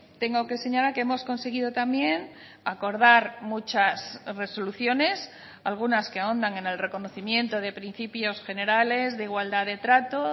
tengo que señalar que hemos conseguido también acordar muchas resoluciones algunas que ahondan en el reconocimiento de principios generales de igualdad de trato